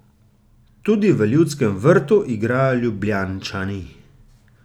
Tudi v Ljudskem vrtu igrajo Ljubljančani.